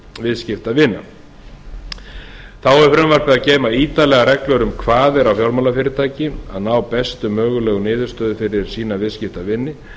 viðskiptavina þá hefur frumvarpið að geyma ítarlegar reglur um kvaðir á fjármálafyrirtæki að ná bestu mögulegu niðurstöðu fyrir sína viðskiptavini